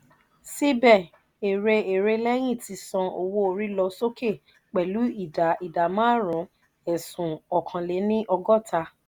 síbè ère ère leyin ti san owó orí lọ sókè pelu idà idà marun esun ọkàn lè ní ogota.